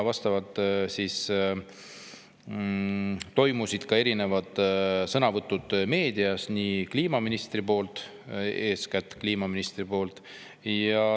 Vastavalt olid ka erinevad sõnavõtud meedias, eeskätt kliimaministri poolt.